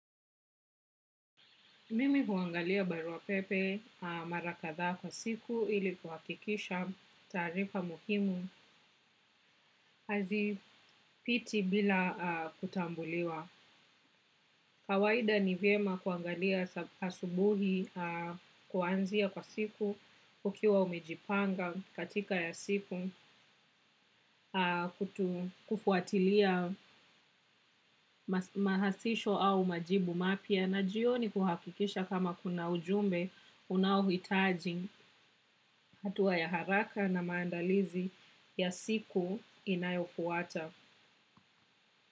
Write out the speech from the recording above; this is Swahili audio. Mimi huangalia baruapepe mara kadha kwa siku ili kuhakikisha taarifa muhimu hazipiti bila kutambuliwa. Kawaida ni vyema kuangalia asubuhi kuanzia kwa siku, ukiwa umejipanga katika ya siku, kufuatilia mahasisho au majibu mapya na jioni kuhakikisha kama kuna ujumbe unaohitaji hatua ya haraka na maandalizi ya siku inayofuata.